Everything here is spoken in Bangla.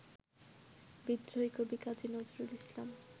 বিদ্রোহী কবি কাজী নজরুল ইসলাম